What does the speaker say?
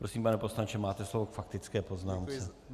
Prosím, pane poslanče, máte slovo k faktické poznámce.